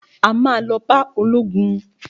A ma lọ bá ológun